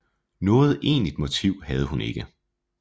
Noget egentligt motiv havde hun ikke